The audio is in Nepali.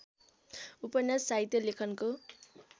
उपन्यास साहित्य लेखनको